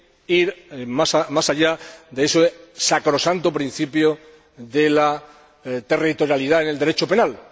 ir más allá de ese sacrosanto principio de territorialidad en el Derecho penal—.